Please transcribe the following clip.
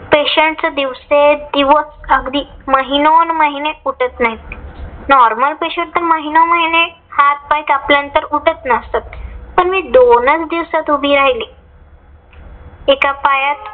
patients दिवसे दिवस अगदी महिनोन महिने उठत नाहीत. Normal patients तर महिनोमहिने हात पाय कापल्यानंतर उठत नसतात. पण मी दोनच दिवसात उभी राहिले. एका पायात